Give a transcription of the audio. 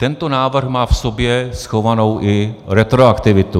Tento návrh má v sobě schovanou i retroaktivitu.